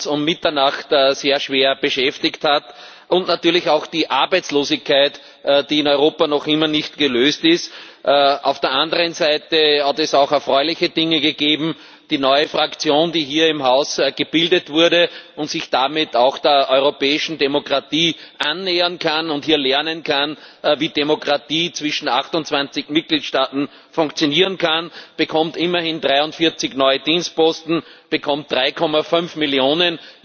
um Mitternacht sehr schwer beschäftigt hat und natürlich auch das Problem der Arbeitslosigkeit in Europa noch immer nicht gelöst ist. Auf der anderen Seite hat es auch erfreuliche Dinge gegeben Die neue Fraktion, die hier im Haus gebildet wurde und sich damit auch der europäischen Demokratie annähern kann und hier lernen kann, wie Demokratie zwischen 28 Mitgliedstaaten funktionieren kann, bekommt immerhin 43 neue Dienstposten, bekommt 3,5 Millionen.